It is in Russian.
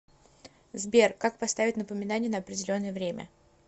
сбер как поставить напоминание на определенное время